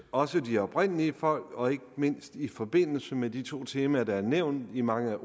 også de oprindelige folk og ikke mindst i forbindelse med de to temaer der er nævnt i mange af